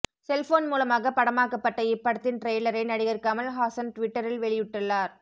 cellphone மூலமாகப் படமாக்கப்பட்ட இப்படத்தின் டிரெய்லரை நடிகர் கமல் ஹாசன் ட்விட்டரில் வெளியிட்டுள்ளார்